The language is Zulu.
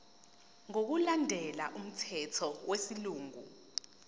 ngokulandela umthetho wesilungu